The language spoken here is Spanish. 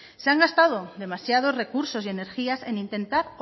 se han gastado demasiados recursos y energías en intentar